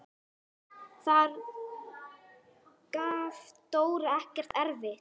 Þar gaf Dóra ekkert eftir.